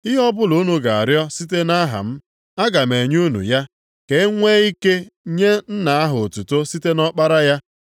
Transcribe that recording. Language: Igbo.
Ihe ọbụla unu ga-arịọ site nʼaha m, aga m enye unu ya, ka e nwe ike nye Nna ahụ otuto site nʼỌkpara ya.